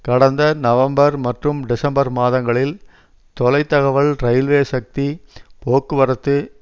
கடந்த நவம்பர் மற்றும் டிசம்பர் மாதங்களில் தொலை தகவல் இரயில்வே சக்தி போக்குவரத்து